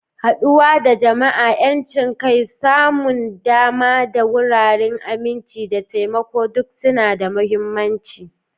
Haɗuwa da jama'a, 'yancin kai, samun dama ga wurare, aminci, da taimako duk suna da mahimmanci.